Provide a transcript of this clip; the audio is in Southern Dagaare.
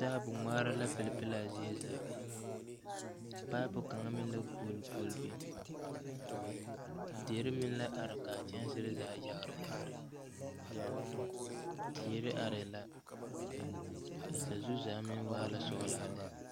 Taabo ngmaara la pilepile laa zie zaa paapu kaŋa meŋ la guoleguole biŋ derre meŋ la are kaa kyɛnserre zaa yagre yagre teere areɛɛ la a sazu zaa meŋ waa la sɔglaa lɛ.